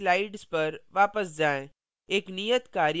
अब अपनी slides पर वापस जाएँ